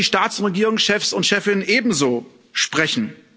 Darüber werden die Staats und Regierungschefs und chefinnen ebenso sprechen.